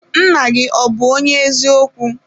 Nna gị ọ bụ onye eziokwu?